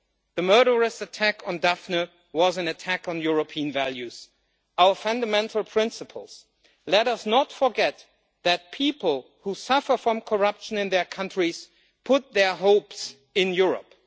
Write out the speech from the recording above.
The murderous attack on Daphne was an attack on European values, our fundamental principles. Let us not forget that people who suffer from corruption in their countries put their hopes in Europe.